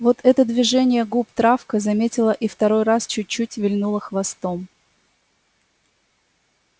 вот это движение губ травка заметила и второй раз чуть-чуть вильнула хвостом